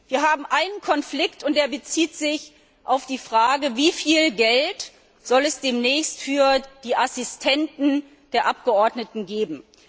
Wir haben einen Konflikt und der bezieht sich auf die Frage Wie viel Geld soll es demnächst für die Assistenten der Abgeordneten geben?